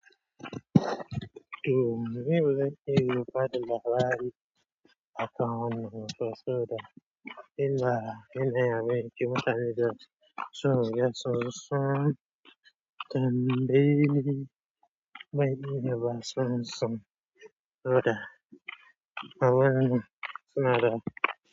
To meye nake bada labari aka mun kaso da. Illa inai me ki mutane da son ya so son tambayi me ya ba son son oda awanni suna da.